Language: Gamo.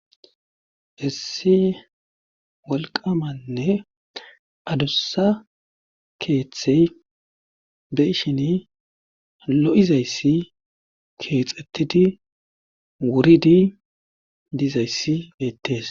hissi wolqamanne adussa keeththey be ishini lo7izayssi keexettidi wuridi diizayssi beettees